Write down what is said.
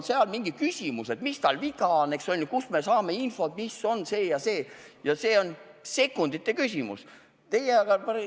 Seal on alati küsimus, et mis tal viga on, kust me saame infot, ja see on sekundite küsimus.